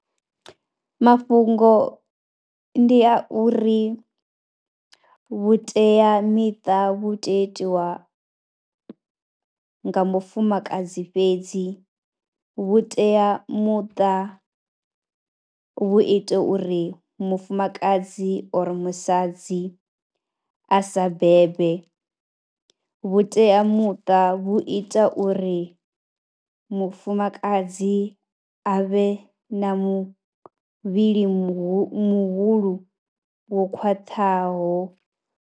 Mafhungo ndi a uri vhuteamiṱa vhu tea itiwa nga mufumakadzi fhedzi, vhuteamuṱa vhu ite uri mufumakadzi or musadzi a sa bebe. Vhuteamuṱa vhu ita uri mufumakadzi a vhe na muvhili mu muhulu wo khwaṱhaho.